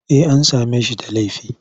Eh an same shi da laifi.